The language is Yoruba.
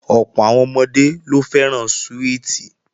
Ọ̀pọ̀ àwọn ọmọdé ló fẹ́ràn súwìtì